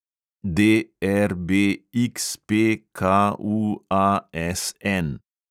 DRBXPKUASN